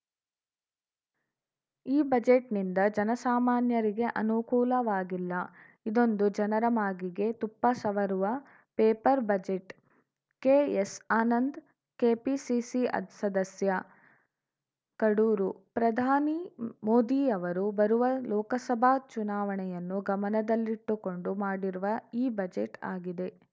ಈ ಬಜೆಟ್‌ನಿಂದ ಜನಸಾಮಾನ್ಯರಿಗೆ ಅನುಕೂಲವಾಗಿಲ್ಲ ಇದೊಂದು ಜನರ ಮಾಗಿಗೆ ತುಪ್ಪ ಸವರುವ paper budget KS Anand KPCC ಸದಸ್ಯ ಕಡೂರು ಪ್ರಧಾನಿ ಮೋದಿ ಅವರು ಬರುವ ಲೋಕಸಭಾ ಚುನಾವಣೆಯನ್ನು ಗಮನದಲ್ಲಿಟ್ಟುಕೊಂಡು ಮಾಡಿರುವ ಈ ಬಜೆಟ್‌ ಆಗಿದೆ